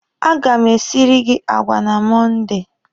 A ga m esiri gị àgwà na Mọnde.